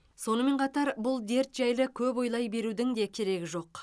сонымен қатар бұл дерт жайлы көп ойлай берудің де керек жоқ